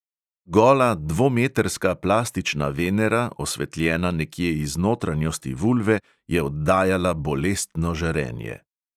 Gola dvometrska plastična venera, osvetljena nekje iz notranjosti vulve, je oddajala bolestno žarenje.